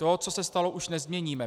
To, co se stalo, už nezměníme.